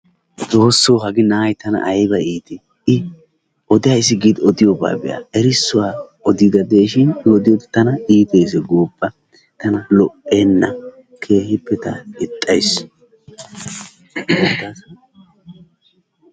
Xooso hagee na'ay tana ayba iitii I odayssi giidi odiyoobaa be'a erissuwa odigadishin i odiyode tana iittees goppa tana lo'enna keehiippe ta ixxays.